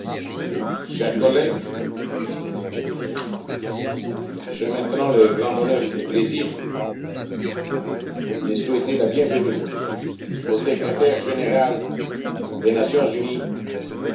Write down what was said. Chers collègues, j'ai maintenant le grand honneur et le plaisir de souhaiter la bienvenue au Secrétaire général des Nations unies, M.